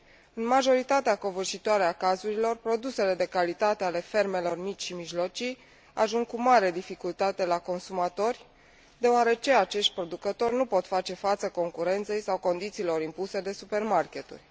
În majoritatea covârșitoare a cazurilor, produsele de calitate ale fermelor mici și mijlocii ajung cu mare dificultate la consumatori, deoarece acești producători nu pot face față concurenței sau condițiilor impuse de supermaketuri.